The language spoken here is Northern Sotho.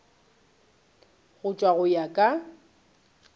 go tlatšwa go ya ka